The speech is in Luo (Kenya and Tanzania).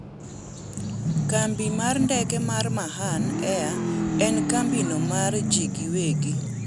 kambi mar ndeke mar Mahan air en kambino mar ji giwegi